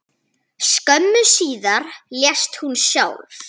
Skömmu síðar lést hún sjálf.